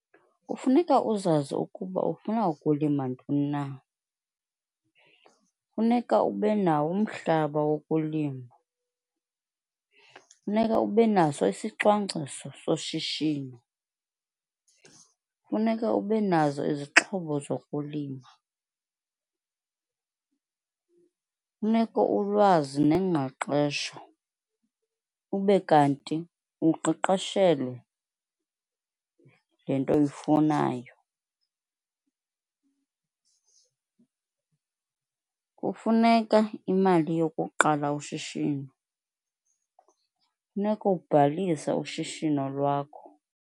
Kufuneka uzazi ukuba ufuna ukulima ntoni na, funeka ube nawo umhlaba wokulima, funeka ube naso isicwangciso soshishino, kufuneka ube nazo izixhobo zokulima, funeka ulwazi neengqeqesho ube kanti uqeqeshelwe le nto uyifunayo. Kufuneka imali yokuqala ushishino, funeka ubhalise ushishino lwakho.